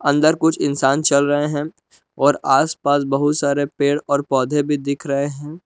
अंदर कुछ इंसान चल रहे हैं और आसपास बहुत सारे पेड़ और पौधे भी दिख रहे हैं।